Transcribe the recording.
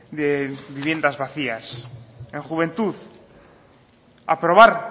de viviendas vacías en juventud aprobar